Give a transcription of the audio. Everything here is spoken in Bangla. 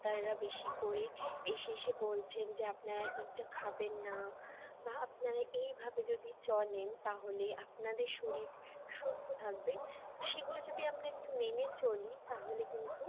ডাক্তাররা বেশি করে এসে এসে বলছেন যে আপনারা এটা খাবেন না বা আপনারা এইভাবে যদি চলেন তাহলে আপনাদের শরীর সুস্থ থাকবে সেগুলো যদি আমরা একটু মেনে চলি তাহলে কিন্তু